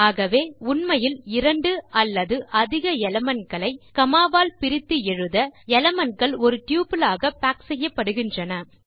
ஆகவே உண்மையில் 2 அல்லது அதிக எலிமெண்ட் களை காமா வால் பிரித்து எழுத எலிமெண்ட் கள் ஒரு டப்பிள் ஆக பாக் செய்யப்படுகின்றன